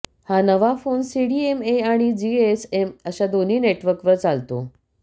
हा नवा phone CDMA आणि जीएसएम अशा दोन्ही नेटवर्कवर चालतो